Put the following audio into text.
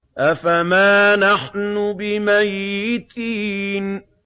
أَفَمَا نَحْنُ بِمَيِّتِينَ